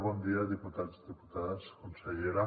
bon dia diputats diputades consellera